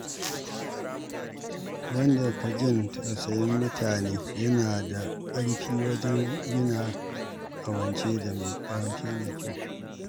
Wanda ke jin tausayin mutane yana da ƙarfi wajen gina ƙawance mai kyau.